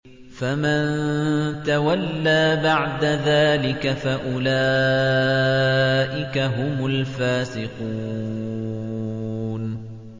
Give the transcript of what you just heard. فَمَن تَوَلَّىٰ بَعْدَ ذَٰلِكَ فَأُولَٰئِكَ هُمُ الْفَاسِقُونَ